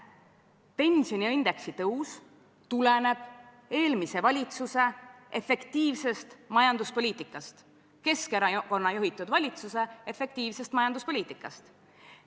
Pensioni ja indeksi tõus tuleneb eelmise valitsuse efektiivsest majanduspoliitikast, Keskerakonna juhitud valitsuse efektiivsest majanduspoliitikast.